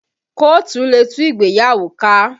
Kóòtù lè tú ìgbéyàwó ká